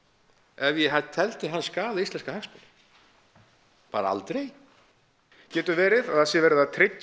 ef ég teldi hann skaða íslenska hagsmuni bara aldrei getur verið að það sé verið að tryggja